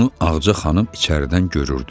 Bunu Ağca xanım içəridən görürdü.